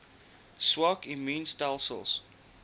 swak immuun stelsels